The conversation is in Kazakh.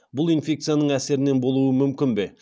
бұл инфекцияның әсерінен болуы мүмкін бе